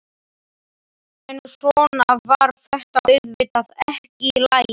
En svona var þetta auðvitað ekki í lagi.